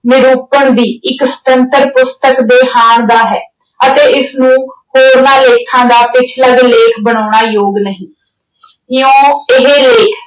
ਨਿਰੂਪਣ ਵੀ ਇੱਕ ਸੁੰਤਤਰ ਪੁਸਤਕ ਦੇ ਹਾਣ ਦਾ ਹੈ ਅਤੇ ਇਸਨੂੰ ਹੋਰਨਾਂ ਲੇਖਾਂ ਦਾ ਪਿਛਲੱਗ ਲੇਖ ਬਣਾਉਣਾ ਯੋਗ ਨਹੀਂ ਇਉਂ ਇਹ ਲੇਖ